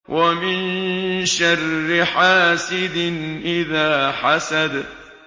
وَمِن شَرِّ حَاسِدٍ إِذَا حَسَدَ